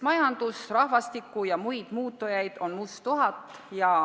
Majanduse, rahvastiku ja muu muutujaid on musttuhat.